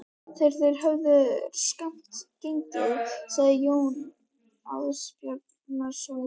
Þegar þeir höfðu skammt gengið sagði Jón Ásbjarnarson